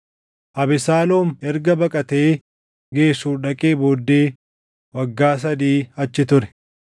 Abesaaloom erga baqatee Geshuur dhaqee booddee waggaa sadii achi ture.